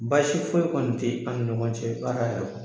Basi foyi kɔni tɛ an ni ɲɔgɔn cɛ baara yara